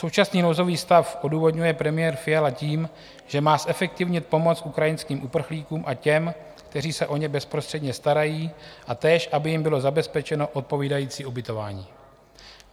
Současný nouzový stav odůvodňuje premiér Fiala tím, že má zefektivnit pomoc ukrajinským uprchlíkům a těm, kteří se o ně bezprostředně starají, a též aby jim bylo zabezpečeno odpovídající ubytování.